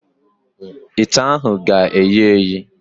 Ite ahụ ga-eyi eyi.